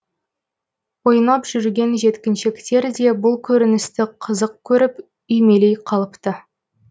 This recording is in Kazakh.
ойнап жүрген жеткіншектер де бұл көріністі қызық көріп үймелей қалыпты